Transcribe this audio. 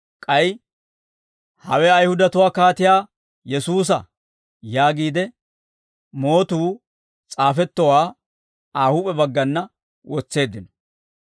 K'ay, «Hawe Ayihudatuu Kaatiyaa Yesuusa» yaagiide mootuu s'aafettowaa Aa huup'e baggana wotseeddino.